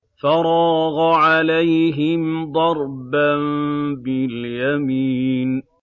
فَرَاغَ عَلَيْهِمْ ضَرْبًا بِالْيَمِينِ